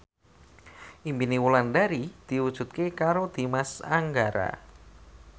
impine Wulandari diwujudke karo Dimas Anggara